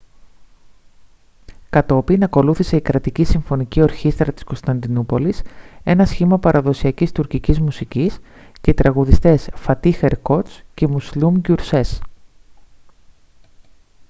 κατόπιν ακολούθησε η κρατική συμφωνική ορχήστρα της κωνσταντινούπολης ένα σχήμα παραδοσιακής τουρκικής μουσικής και οι τραγουδιστές φατίχ ερκότς και μουσλούμ γκιουρσές